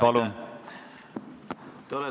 Palun!